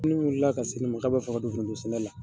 Munnu wulila ka se ne ma, k'a b'a fɛ ka don foronto sɛnɛ la